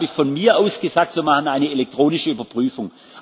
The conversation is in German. war. Dann habe ich von mir aus gesagt Wir machen eine elektronische Überprüfung.